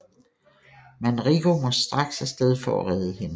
Manrico må straks afsted for at redde hende